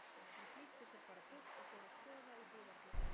Hann flýtti sér bara burt og fór að skoða í búðarglugga.